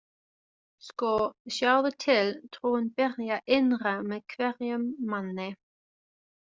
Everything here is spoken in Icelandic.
Sko, sjáðu til, trúin byrjar innra með hverjum manni.